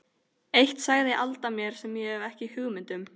Eitt sagði Alda mér sem ég hafði ekki hugmynd um.